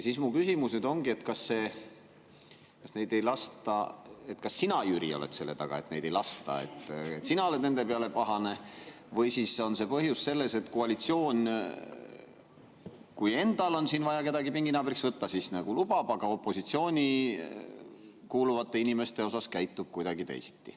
Siis mu küsimus ongi, et kas sina, Jüri, oled selle taga, et neid siia ei lasta, et sina oled nende peale pahane, või on põhjus selles, et koalitsioon, kui endal on vaja kedagi pinginaabriks võtta, siis nagu lubab, aga opositsiooni kuuluvate inimestega käitub kuidagi teisiti.